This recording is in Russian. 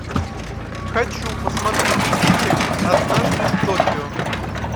хочу посмотреть фильмик однажды в токио